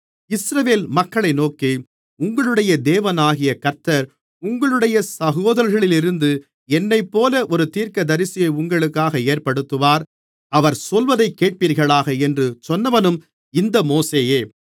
இஸ்ரவேல் மக்களை நோக்கி உங்களுடைய தேவனாகிய கர்த்தர் உங்களுடைய சகோதரர்களிலிருந்து என்னைப்போல ஒரு தீர்க்கதரிசியை உங்களுக்காக ஏற்படுத்துவார் அவர் சொல்வதை கேட்பீர்களாக என்று சொன்னவனும் இந்த மோசேயே